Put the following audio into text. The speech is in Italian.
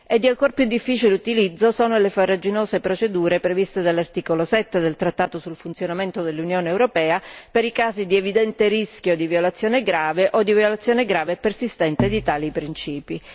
Di ancora più difficile utilizzo sono le farraginose procedure previste dall'articolo 7 del trattato sul funzionamento dell'Unione europea per i casi di evidente rischio di violazione grave o di violazione grave e persistente di tali principi.